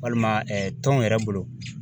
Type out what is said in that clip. Walima tɔn yɛrɛ bolo.